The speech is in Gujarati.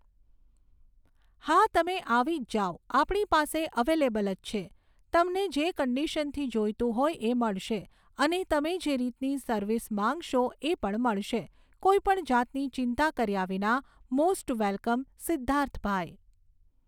હા તમે આવી જ જાવ આપણી પાસે અવેલેબલ જ છે, તમને જે કંડિશનથી જોઈતું હોય એ મળશે અને તમે જે રીતની સર્વિસ માગશો એ પણ મળશે. કોઈ પણ જાતની ચિંતા કર્યા વિના મોસ્ટ વેલકમ સિધ્ધાર્થભાઈ